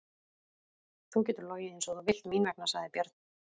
Þú getur logið eins og þú vilt mín vegna, sagði Bjarni.